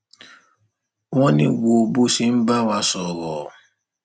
wọn ní wo bó ṣe ń bá wa sọrọ